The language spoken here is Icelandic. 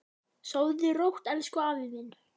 Sofðu rótt, elsku afi minn.